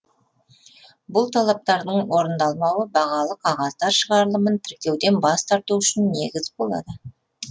бұл талаптардың орындалмауы бағалы қағаздар шығарылымын тіркеуден бас тарту үшін негіз болады